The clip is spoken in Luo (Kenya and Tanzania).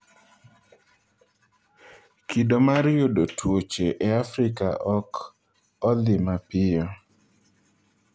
‘Kido mar yudo tuoche e Afrika ok odhi mapiyo.